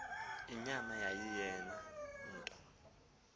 inyama yayiyeyona nto